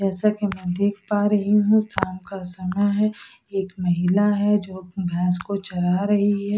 जैसा कि मैं देख पा रही हूं शाम का समय है एक महिला है जो अह भैंस को चरा रही है।